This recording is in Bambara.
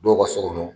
Dɔw ka so kɔnɔ